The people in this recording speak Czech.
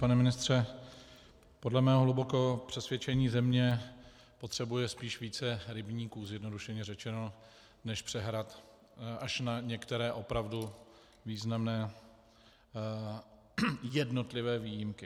Pane ministře, podle mého hlubokého přesvědčení země potřebuje spíš více rybníků, zjednodušeně řečeno, než přehrad, až na některé opravdu významné jednotlivé výjimky.